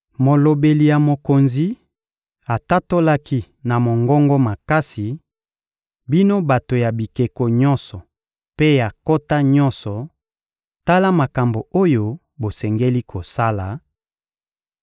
Molobeli ya mokonzi atatolaki na mongongo makasi: — Bino bato ya bikolo nyonso mpe ya nkota nyonso, tala makambo oyo bosengeli kosala: